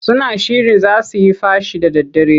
Suna shirin za su yi fashi da daddare.